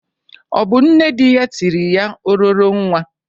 Ọ bụ nne dị ya tiri ya ororo nwa?